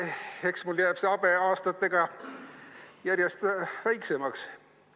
Eks mul jääb see habe aastatega järjest väiksemaks.